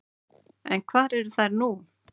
En hvar eru þær nú?